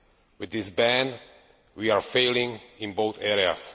With this ban we are failing in both areas.